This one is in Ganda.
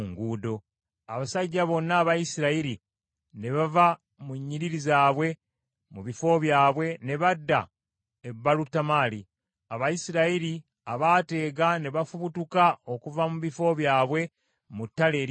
Abasajja bonna aba Isirayiri ne bava mu nnyiriri zaabwe mu bifo byabwe, ne badda e Baalutamali. Abayisirayiri abaateega ne bafubutuka okuva mu bifo byabwe mu ttale erya Gibea.